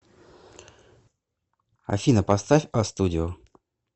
афина поставь а студио